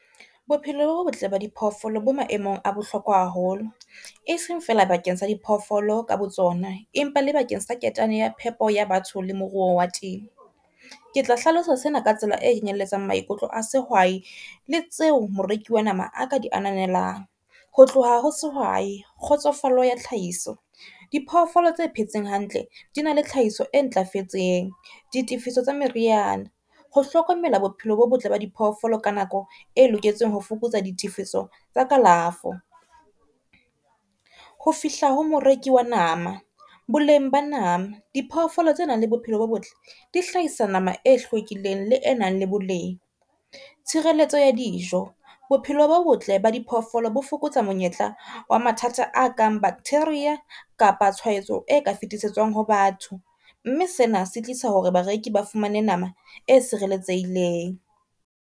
Bophelo bo botle ba diphoofolo bo maemong a bohlokwa haholo, e seng feela bakeng sa di phoofolo ka botsona, empa le bakeng sa ketane ya phepo ya batho le moruo wa temo. Ke tla hlalosa sena ka tsela e kenyelletsang maikutlo a sehwai le tseo moreki wa nama a ka di ananelang. Ho tloha ho sehwai kgotsofalo ya tlhahiso, diphoofolo tse phetseng hantle di na le tlhahiso e ntlafetseng. Di tifiso tsa meriana, ho hlokomela bophelo bo botle ba di phoofolo ka nako e loketseng ho fokotsa di tifiso tsa kalafo, ho fihla ho moreki wa nama. Boleng ba nama, di phoofolo tse nang le bophelo bo botle di hlahisa nama e hlwekileng, le e nang le boleng. Tshireletso ya dijo, bophelo bo botle ba diphoofolo bo fokotsa monyetla wa mathata a kang bacteria kapa tshwaetso e ka fetisetswang ho batho, mme sena se tlisa hore bareki ba fumane nama e sireletsehileng.